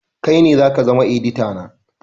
Kai ne zaka zama edita na